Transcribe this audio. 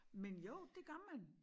Men jo det gør man